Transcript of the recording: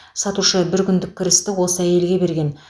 сатушы бір күндік кірісті осы әйелге берген